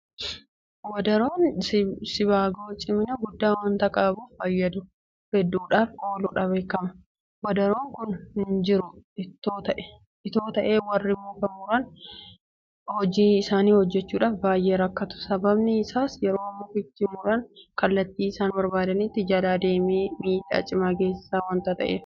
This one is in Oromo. Wadaroon sibaagoo cimina guddaa waanta qabuuf faayidaa hedduudhaaf ooluudhaan beekama. Wadaroon kun hinjiru itoo ta'ee warri muka muran hojii isaanii hojjechuudhaaf baay'ee rakkatu. Sababni isaas yeroo mukicha muran kallattii isaan hinbarbaannetti jalaa deemee miidhaa cimaa geessisa waanta ta'eef waanti ittiin harkifamu barbaachisaadha.